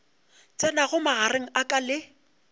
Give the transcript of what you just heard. tsenago magareng a ka le